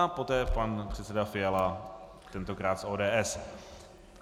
A poté pan předseda Fiala, tentokrát z ODS.